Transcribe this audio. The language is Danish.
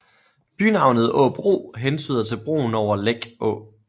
Bynavnet Åbro hentyder til broen over Læk Å